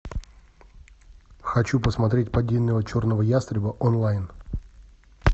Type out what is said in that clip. хочу посмотреть падение черного ястреба онлайн